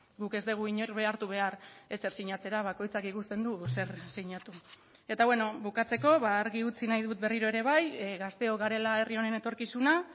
guk ez dugu inor behartu behar ezer sinatzera bakoitzak ikusten du zer sinatu eta bukatzeko argi utzi nahi dut berriro ere bai gazteok garela herri honen etorkizuna